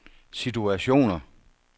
situationer